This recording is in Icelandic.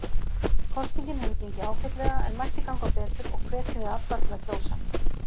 Kosningin hefur gengið ágætlega en mætti ganga betur og hvetjum við alla til að kjósa.